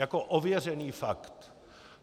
Jako ověřený fakt!